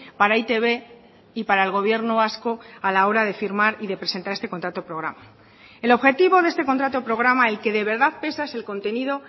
para e i te be y para el gobierno vasco a la hora de firmar y de presentar este contrato programa el objetivo de este contrato programa el que de verdad pesa es el contenido